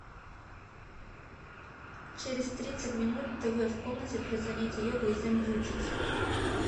через тридцать минут тв в комнате для занятия йогой замьютить